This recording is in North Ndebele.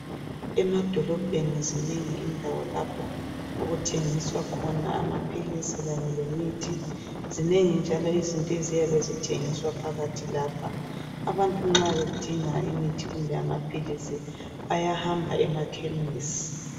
Emadolobheni zinengi indawo lapho okuthengiswa khona amaphilisi Kanye lemithi, zinengi njalo izinto eziyabe zithengiswa phakathi lapha, abantu nxa bedinga imithi kumbe amaphilisi, bayahamba emakhemisi.